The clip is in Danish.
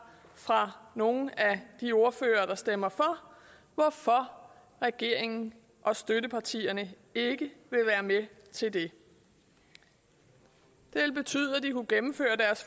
fra nogen af de ordførere der stemmer for på regeringen og støttepartierne ikke vil være med til det det ville betyde at de kunne gennemføre deres